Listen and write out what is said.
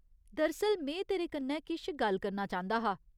दरअसल, में तेरे कन्नै किश गल्ल करना चांह्‌‌‌दा हा।